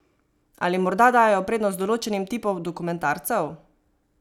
Ali morda dajejo prednost določenim tipom dokumentarcev?